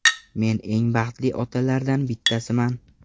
Men eng baxtli otalardan bittasiman.